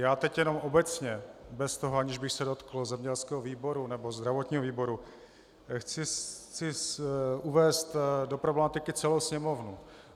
Já teď jenom obecně, bez toho, aniž bych se dotkl zemědělského výboru nebo zdravotního výboru, chci uvést do problematiky celou Sněmovnu.